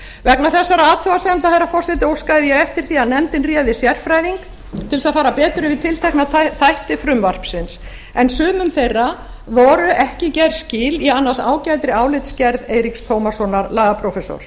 vegna þessara athugasemda herra forseti óskaði ég eftir því að nefndin réði sérfræðing til þess að fara betur yfir tiltekna þætti frumvarpsins en sumum þeirra voru ekki gerð skil í annars ágætri álitsgerð eiríks tómassonar lagaprófessors